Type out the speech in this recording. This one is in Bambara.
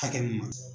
Hakɛ mun na